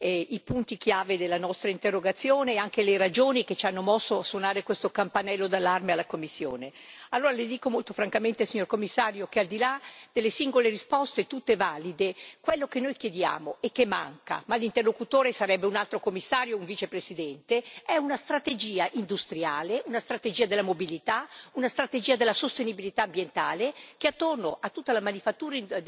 Signora Presidente, onorevoli colleghi, l'onorevole Werner ha spiegato molto bene i punti chiave della nostra interrogazione e anche le ragioni che ci hanno mosso a suonare questo campanello d'allarme alla Commissione. Allora le dico molto francamente, signor Commissario, che al di là delle singole risposte, tutte valide, quello che noi chiediamo e che manca ma l'interlocutore sarebbe un altro Commissario o un Vicepresidente è una strategia industriale, una strategia della mobilità, una strategia della sostenibilità ambientale che, attorno a tutta la manifattura